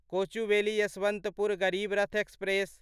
Kochuveli Yesvantpur Garib Rath express